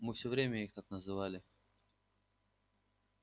мы все время их так называли